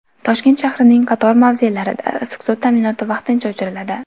Toshkent shahrining qator mavzelarida issiq suv ta’minoti vaqtincha o‘chiriladi.